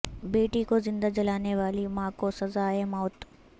بیٹی کو زندہ جلانے والی ماں کو سزائے موت